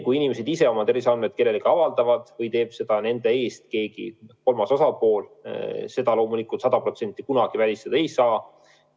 Kui inimesed ise oma terviseandmeid kellelegi avaldavad või teeb seda nende eest keegi teine, seda loomulikult sada protsenti kunagi välistada ei saa.